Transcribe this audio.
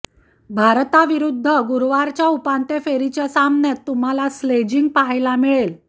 भारता विरुध्द गुरुवारच्या उपांत्यफेरीच्या सामन्यात तुम्हाला स्लेजिंग पहायला मिळेल